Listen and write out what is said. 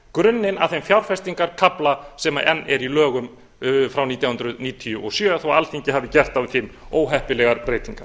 grunninn að þeim fjárfestingarkafla sem enn er í lögum frá nítján hundruð níutíu og sjö þó alþingi hafi gert á þeim óheppilegar breytingar